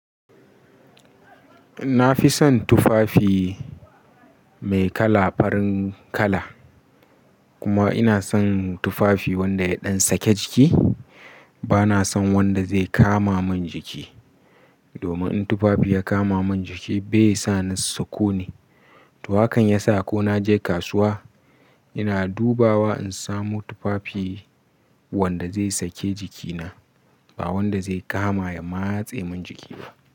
Na fi son tufafi mai kala farin kala, kuma ina son tufafi wanda ya ɗan sake jiki. Bana son wanda zai kama mun jiki. Domin in tufafi ya kama mun jiki bai sa ni sakoni. To hakan ya sa ko na je kasuwa ina dubawa in samo tufafi wanda zai sake jikina, ba wanda zai kama ya matse mun jiki ba.